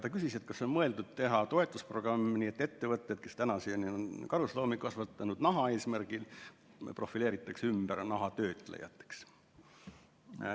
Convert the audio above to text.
Ta küsis, kas on mõeldud teha toetusprogrammi nii, et ettevõtted, kes tänaseni on karusloomi kasvatanud naha eesmärgil, profileeritakse ümber nahatöötlejateks.